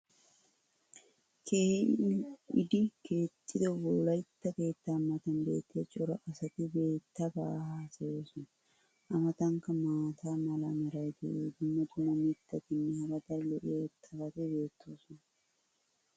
keehi lil'iddi keexxido wolaytta keettaa matan beetiya cora asati keettaabaa haasayoosona. a matankka maata mala meray diyo dumma dumma mitatinne hara daro lo'iya irxxabati beetoosona.